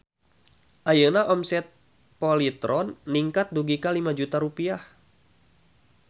Ayeuna omset Polytron ningkat dugi ka 5 juta rupiah